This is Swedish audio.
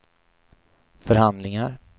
förhandlingar